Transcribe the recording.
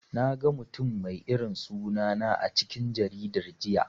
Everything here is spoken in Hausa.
Naga mutum mai irin suna na a cikin jaridan jiya.